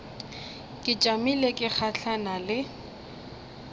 ke tšamile ke gahlana le